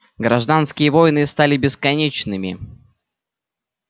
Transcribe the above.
гражданские войны стали бесконечными